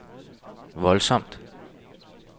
voldsomt